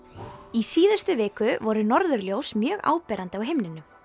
í síðustu viku voru norðurljós mjög áberandi á himninum